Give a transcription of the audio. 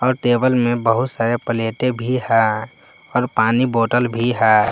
और टेबल में बहुत सारे प्लेटें भी है और पानी बॉटल भी है।